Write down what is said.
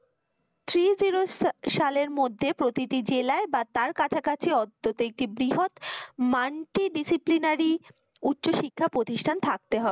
three zero সালের মধ্যে প্রতিটি জেলায় বা তার কাছা কাছি অন্তত একটি বৃহৎ multi disciplinary উচ্চ শিক্ষা প্রতিষ্ঠান থাকতে হবে।